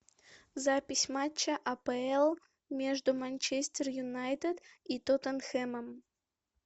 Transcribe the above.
запись матча апл между манчестер юнайтед и тоттенхэмом